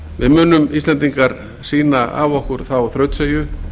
við munum íslendingar sýna af okkur þá þrautseigju